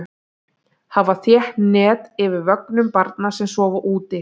Hafa þétt net yfir vögnum barna sem sofa úti.